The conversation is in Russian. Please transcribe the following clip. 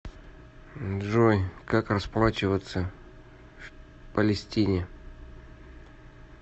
джой как расплачиваться в палестине